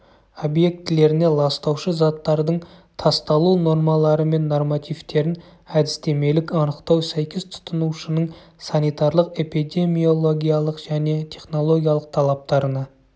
объектілеріне ластаушы заттардың тасталу нормалары мен нормативтерін әдістемелік анықтау сәйкес тұтынушының санитарлық-эпидемиологиялық және технологиялық талаптарына